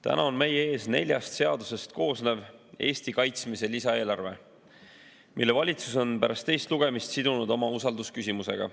Täna on meie ees neljast seadusest koosnev Eesti kaitsmise lisaeelarve, mille valitsus on pärast teist lugemist sidunud usaldusküsimusega.